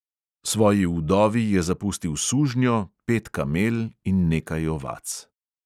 Svoji vdovi je zapustil sužnjo, pet kamel in nekaj ovac.